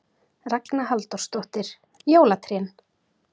Ragna Halldórsdóttir: Jólatrén?